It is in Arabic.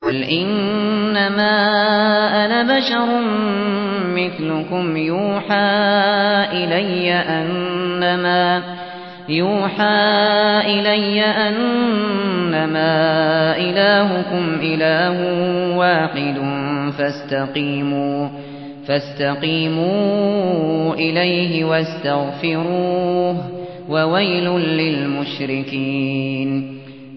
قُلْ إِنَّمَا أَنَا بَشَرٌ مِّثْلُكُمْ يُوحَىٰ إِلَيَّ أَنَّمَا إِلَٰهُكُمْ إِلَٰهٌ وَاحِدٌ فَاسْتَقِيمُوا إِلَيْهِ وَاسْتَغْفِرُوهُ ۗ وَوَيْلٌ لِّلْمُشْرِكِينَ